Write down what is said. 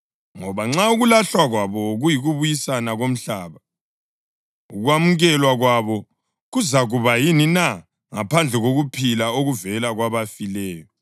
Ngoba nxa ukulahlwa kwabo kuyikubuyisana komhlaba, ukwamukelwa kwabo kuzakuba yini na ngaphandle kokuphila okuvela kwabafileyo?